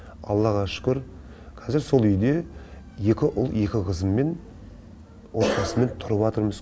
аллаға шүкір қазір сол үйде екі ұл екі қызыммен тұрыватырмыз